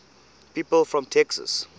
people from texas